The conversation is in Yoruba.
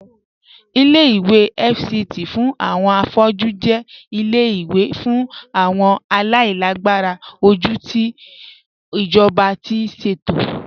Ìlẹ̀-ìwé FCT fún awọn afọ̀jú jẹ̀ ìlẹ̀-ìwé fún awọn aláìlàgbàrà ojú tí ijọba ti ṣetò.